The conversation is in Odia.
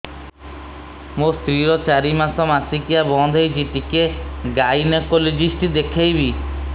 ମୋ ସ୍ତ୍ରୀ ର ଚାରି ମାସ ମାସିକିଆ ବନ୍ଦ ହେଇଛି ଟିକେ ଗାଇନେକୋଲୋଜିଷ୍ଟ ଦେଖେଇବି